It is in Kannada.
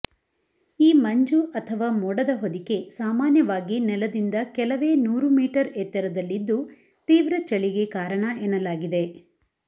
ಈ ಮಂಜು ಅಥವಾ ಮೋಡದ ಹೊದಿಕೆ ಸಾಮಾನ್ಯವಾಗಿ ನೆಲದಿಂದ ಕೆಲವೇ ನೂರು ಮೀಟರ್ ಎತ್ತರದಲ್ಲಿದ್ದು ತೀವ್ರ ಚಳಿಗೆ ಕಾರಣ ಎನ್ನಲಾಗಿದೆ